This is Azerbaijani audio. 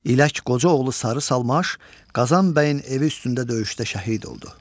İlək qoca oğlu Sarı Salmaş Qazan bəyin evi üstündə döyüşdə şəhid oldu.